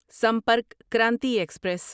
Sampark Kranti express